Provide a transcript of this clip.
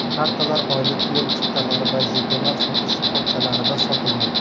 Kartalar oylik yo‘l chiptalari va jetonlar sotish shoxobchalarida sotilmoqda.